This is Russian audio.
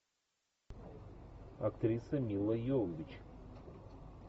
актриса мила йовович